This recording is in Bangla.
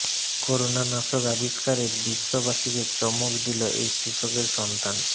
করোনা নাশক আবিস্কারে বিশ্ববাসীকে চমক দিল এই কৃষকের সন্তান